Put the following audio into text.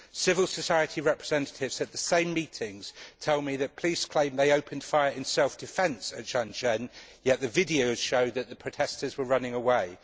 Civil society representatives at the same meetings tell me that police claim they opened fire in self defence at Zhanaozen, yet the videos show that the protestors were running away.